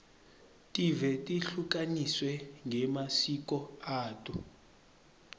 tive tehlukaniswe ngemasiko ato